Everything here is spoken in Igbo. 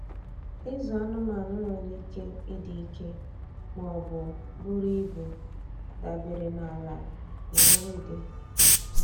Ịzụ anụmanụ nwere ike ịdị ike ma ọ bụ buru ibu, dabere na ala na nri dị.